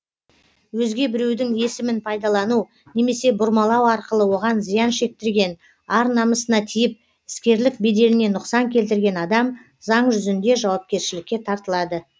өзге біреудің есімін пайдалану немесе бұрмалау арқылы оған зиян шектірген ар намысына тиіп іскерлік беделіне нұқсан келтірген адам заң жүзінде жауапкершілікке тартылады